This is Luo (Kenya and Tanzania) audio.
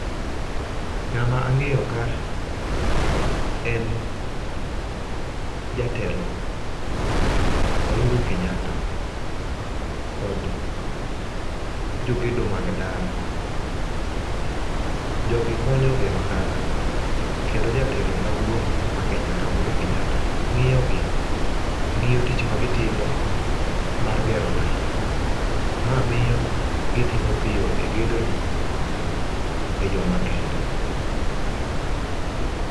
Ng'ama ang'eyo ka en jatelo Uhuru Kenyatta kod jogedo mag ndara. Jogi konyo gero ndara, kendo jatelo maduong' ma Kenya ka Uhuru Kenyatta ng'iyo gi, ng'iyo tich ma gitimo mar gero ndara. Ma miyo gitimo piyo e gedo ni, e yo ma kende.